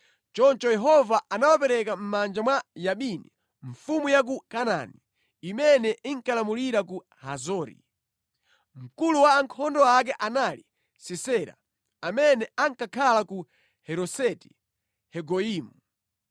Choncho Yehova anawapereka mʼmanja mwa Yabini, mfumu ya ku Kanaani, imene inkalamulira ku Hazori. Mkulu wa ankhondo ake anali Sisera, amene ankakhala ku Haroseti-Hagoyimu.